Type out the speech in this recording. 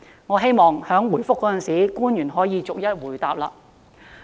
我希望官員答覆時可以逐一回應。